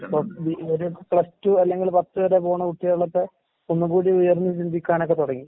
ഇപ്പൊ plus two അല്ലെങ്കിൽ പത്ത് വരെ പോണ കുട്ടികളൊക്കെ ഒന്നുകൂടി ഉയർന്ന് ചിന്തിക്കാനൊക്കെ തൊടങ്ങി.